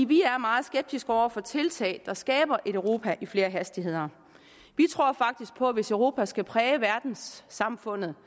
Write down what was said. vi er meget skeptiske over for tiltag der skaber et europa i flere hastigheder vi tror faktisk på at hvis europa skal præge verdenssamfundet